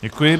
Děkuji.